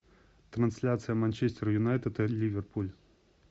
трансляция манчестер юнайтед и ливерпуль